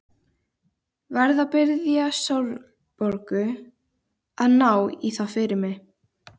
Verð að biðja Sólborgu að ná í það fyrir mig.